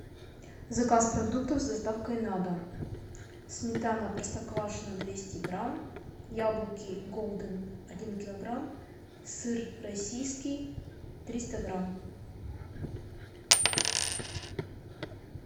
заказ продуктов с доставкой на дом сметана простоквашино двести грамм яблоки голден один килограмм сыр российский триста грамм